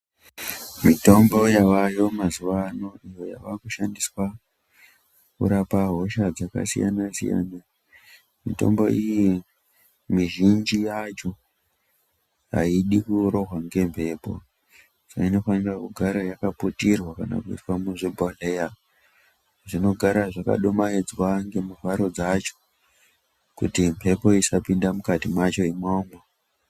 Mitombo yavayo maziwa ano uava kushandiswa kurapa hosha dzakasiyana-siyana, mitombo iyi mizhinji yacho aidi kurohwa ngemphepo inofanira kugara yakapiyirwa kana kuiswa muzvibhodhleya zvinogara zvakadimaidzwa ngemivharo dzacho kuti mphepo isapinda mukati mwacho umomo.